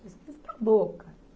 você ficou louca?